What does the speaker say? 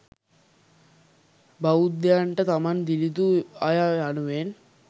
බෞද්ධයන්ට තමන් දිළිඳු අය යනුවෙන්